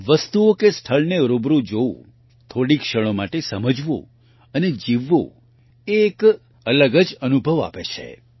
વસ્તુઓ કે સ્થળને રૂબરૂ જોવું થોડી ક્ષણો માટે સમજવું અને જીવવું એ એક અલગ જ અનુભવ આપે છે